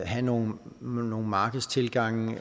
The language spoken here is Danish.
have nogle markedstilgange